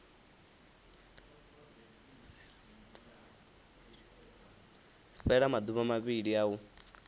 fhela maduvha mavhili a u